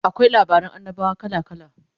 akwai labaran annabawa kala kala